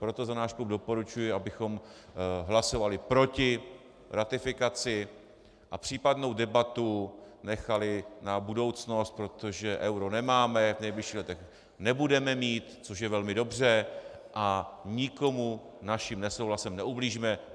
Proto za náš klub doporučuji, abychom hlasovali proti ratifikaci a případnou debatu nechali na budoucnost, protože euro nemáme, v nejbližších letech nebudeme mít, což je velmi dobře, a nikomu naším nesouhlasem neublížíme.